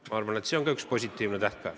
Ma arvan, et see on ka üks positiivne tähtpäev.